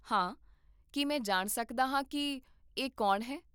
ਹਾਂ, ਕੀ ਮੈਂ ਜਾਣ ਸਕਦਾ ਹਾਂ ਕੀ ਇਹ ਕੌਣ ਹੈ?